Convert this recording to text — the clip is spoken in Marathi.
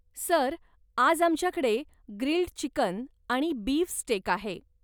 सर, आज आमच्याकडे ग्रिल्ड चिकन आणि बीफ स्टेक आहे.